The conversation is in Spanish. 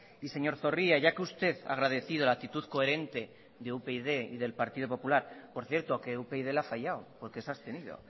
señor zorrilla ya que usted ha agradecido la actitud coherente de upyd y del partido popular que por cierto que upyd le ha fallado porque se ha abstenido